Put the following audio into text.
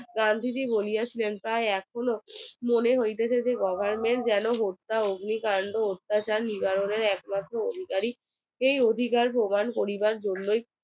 গান্ধী জি বলিয়াছিলেন তাই এখনো মনে হইতেছে যে government যেন হত্যা অগ্নিকান্ড অত্যাচার নিবারণের অধিকারীকেই অধিকার প্রদান করিবার জন্যই